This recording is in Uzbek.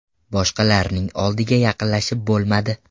Boshqalarning oldiga yaqinlashib bo‘lmadi.